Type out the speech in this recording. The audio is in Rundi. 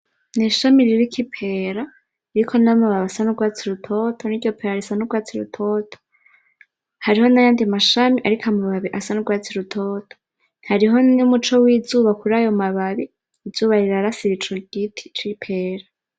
N'ishami ririko ipera, ririko n'amababi asa n'urwatsi rutoto , niryo pera risa n'urwatsi rutoto , hariho n'ayandi mashami ariko amababi asa n'u rwatsi rutoto, hariho n'umuco w'izuba kurayo mababi , izuba rirashe ico giti c'ipera